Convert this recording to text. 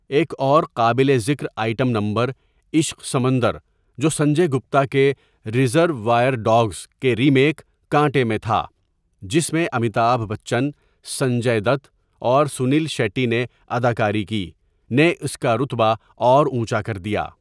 ایک اور قابل ذکر آئٹم نمبر 'عشق سمندر'،جو سنجے گپتا کے 'ریزروائر ڈاگس' کے ریمیک 'کانٹے' میں تھا جس میں امیتابھ بچن، سنجے دت، اور سنیل شیٹی نے اداکاری کی، نےاس کا رتبہ اور اونچا کر دیا۔